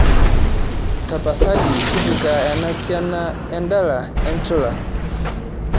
tapasali tipika ena esiana endala enchula